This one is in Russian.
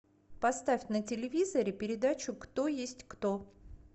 поставь на телевизоре передачу кто есть кто